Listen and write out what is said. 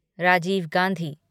Rajiv Gandhi